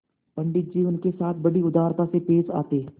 पंडित जी उनके साथ बड़ी उदारता से पेश आते